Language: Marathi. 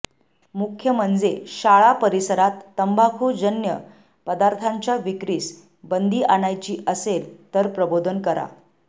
मुख्य म्हणजे शाळा परिसरात तंबाखूजन्य पदार्थाच्या विक्रीस बंदी आणायची असेल तर प्रबोधन करा